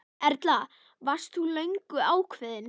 Erla: Varst þú löngu ákveðinn?